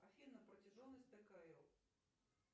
афина протяженность ткл